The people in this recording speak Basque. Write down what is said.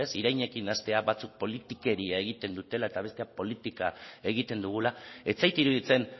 irainekin hastea batzuek politikeria egiten dutela eta besteak politika egiten dugula ez zait iruditzen